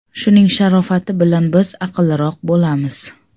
Shuning sharofati bilan biz aqlliroq bo‘lamiz.